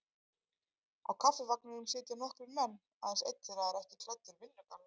Á Kaffivagninum sitja nokkrir menn, aðeins einn þeirra er ekki klæddur vinnugalla.